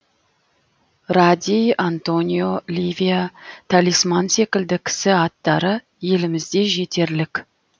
радий антонио ливия талисман секілді кісі аттары елімізде жетерлік